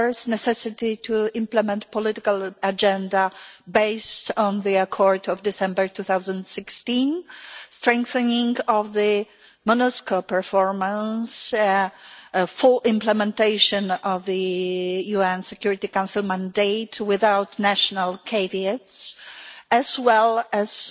Firstly, the necessity to implement a political agenda based on the Accord of December 2016, the strengthening of the MONUSCO performance, full implementation of the UN Security Council mandate without national caveats, as well as